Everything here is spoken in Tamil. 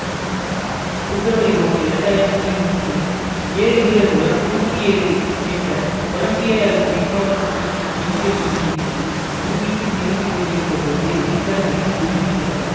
பிப்ரவரி ஒன்னு இரண்டு ஆயிரத்தி மூன்றில் ஏழு வீரர்களுடன் நூற்றி ஏழு என்ற கொலம்பிய விண்ணோடத்தில் விண்வெளியில் இருந்து பூமிக்கு திரும்பி கொண்டிருந்த பொழுது விண்கலம் வெடித்து உயிரிழந்தார்